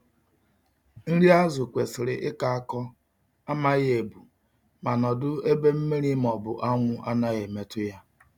Nri azu kwesiri ịkọ akọ, amaghị ebu, ma nọdụ ebe mmiri ma ọ bụ anwụ anaghi emetụ ya